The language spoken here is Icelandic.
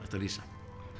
lýsa